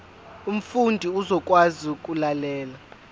umfundi uzokwazi ukulalela